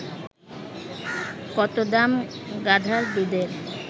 কত দাম গাধার দুধের